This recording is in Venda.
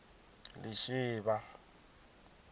lishivha